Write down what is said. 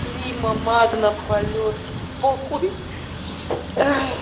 прима магна полет похуй